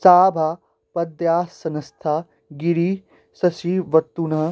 सा भा पद्मासनस्था गिरिशशिवतनुः